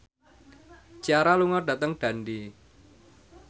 Ciara lunga dhateng Dundee